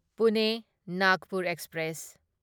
Pune Nagpur express